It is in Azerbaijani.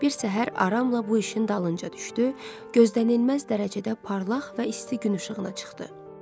Bir səhər aramla bu işin dalınca düşdü, gözlənilməz dərəcədə parlaq və isti gün işığına çıxdı.